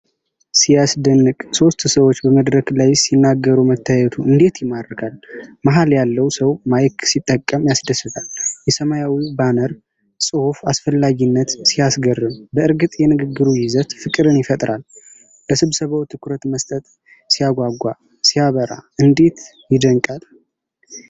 ሲያስደንቅ! ሦስት ሰዎች በመድረክ ላይ ሲናገሩ መታየቱ እንዴት ይማርካል! መሀል ያለው ሰው ማይክ ሲጠቀም ያስደስታል! የሰማያዊው ባነር ጽሑፍ አስፈላጊነት ሲያስገርም! በእርግጥ የንግግሩ ይዘት ፍቅርን ይፈጥራል! ለስብሰባው ትኩረት መስጠት ሲያጓጓ! ሲያበራ! እንዴት ይደነቃል!